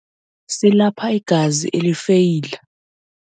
Silapha igazi elifeyila.